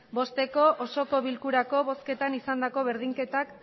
bosteko osoko bilkurako bozketan izandako berdinketak